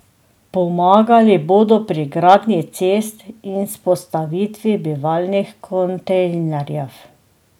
Pomagali bodo pri gradnji cest in vzpostavitvi bivalnih kontejnerjev.